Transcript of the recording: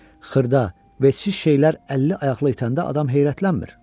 Xırda, vecsiz şeylər əlli ayaqlı itəndə adam heyrətlənmir.